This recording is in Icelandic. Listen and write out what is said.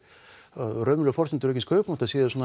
að raunverulegar forsendur aukins kaupmáttar séu